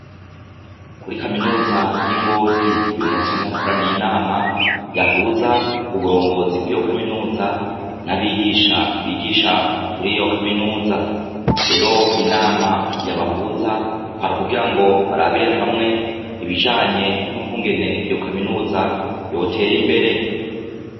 Kuri kaminuza y'ingozi uyu musi hari hakoraniye inama yahuza uburongozi bw'iyo kaminuza n'abigisha bigisha kuri iyo kaminuza rero inama yabahuza kwari ukugira ngo barabire hamwe ibijanye n'ukwungene iyo kaminuza yotera imbe re.